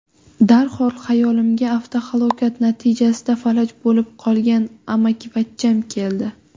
Darhol xayolimga avtohalokat natijasida falaj bo‘lib qolgan amakivachcham keldi.